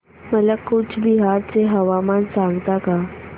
मला कूचबिहार चे हवामान सांगता का